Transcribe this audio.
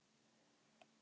Ég man að